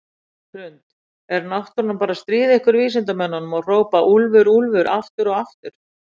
Hrund: Er náttúran bara að stríða ykkur vísindamönnunum og hrópa úlfur, úlfur aftur og aftur?